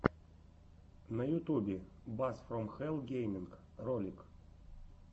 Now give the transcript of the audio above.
на ютубе бас фром хэлл гейминг ролик